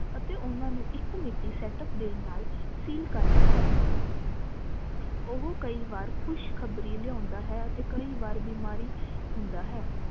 ਅਤੇ ਊਨਾ ਨੂੰ ਇਕ ਮਿਤੀ set up ਦੇਣ ਨਾਲ seal ਕਰਦਾ ਹੈ ਉਹ ਕਈ ਵਾਰ ਖੁਸ਼ਖਬਰੀ ਲਿਓਂਦਾ ਹੈ ਤੇ ਕਈ ਵਾਰ ਬਿਮਾਰੀ ਹੀ ਹੁੰਦਾ ਹੈ